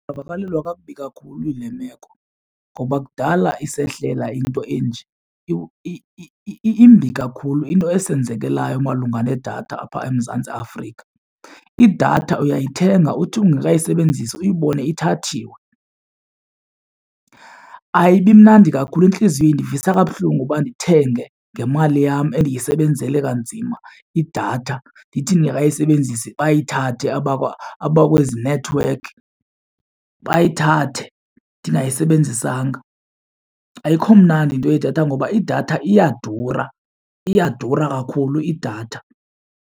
Ndivakalelwa kakubi kakhulu yile meko ngoba kudala isehlela into enje. Imbi kakhulu into esenzekelayo malunga nedatha apha eMzantsi Afrika. Idatha uyayithenga uthi ungeka yisebenzisi uyibone ithathiwe. Ayibi mnandi kakhulu intliziyo ivisa kabuhlungu uba ndithenge ngemali yam endiyisebenzele kanzima idatha, ndithi ndingekayisebenzisi bayithathe abakwezi nethiwekhi, bayithathe ndingayisebenzisanga. Ayikho mnandi into yedatha ngoba idatha iyadura, iyadura kakhulu idatha.